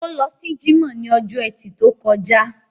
Ó lọ sí jímọ̀ ní ọjọ́ ẹtì tó kọjá